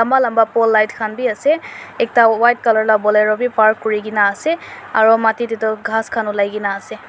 lamba lamba pole light b ase ekta white colour bolero park kori kena ase aru mati te tu ghas khan ulai kena ase.